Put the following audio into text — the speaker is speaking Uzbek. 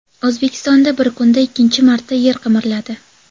O‘zbekistonda bir kunda ikkinchi marta yer qimirladi.